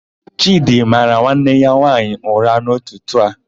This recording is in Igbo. Chịdị mara nwanne ya nwaanyị ụra n'ụtụtụ a.